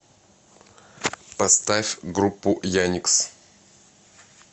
поставь группу яникс